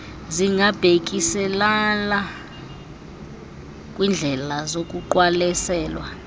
zingabhekiselela kwiindlela zokuqwalaselwa